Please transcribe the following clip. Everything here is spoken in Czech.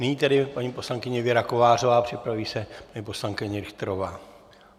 Nyní tedy paní poslankyně Věra Kovářová a připraví se paní poslankyně Richterová.